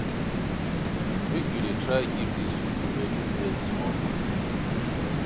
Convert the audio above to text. Make you dey try give dis pipo wey dey beg small moni